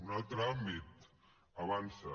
un altre àmbit avançsa